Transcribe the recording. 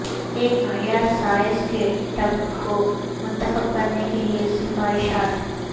ایک معیاری سائز کے ٹب کو منتخب کرنے کے لئے سفارشات